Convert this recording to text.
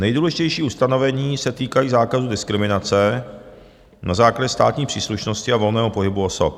Nejdůležitější ustanovení se týkají základní diskriminace na základě státní příslušnosti a volného pohybu osob.